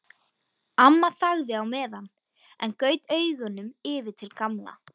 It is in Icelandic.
Amma þagði á meðan en gaut augunum yfir til Gamla.